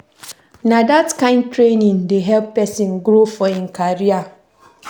Na dat kain training dey help pesin grow for im career.